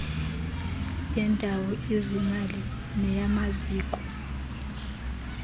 yendawo izimali neyamaziko